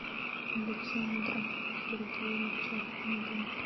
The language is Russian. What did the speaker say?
александра сергеевича ахмедова